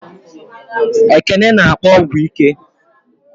Ekene n'akpo ọgwụ ike